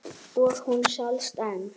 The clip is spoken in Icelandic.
Og hún selst enn.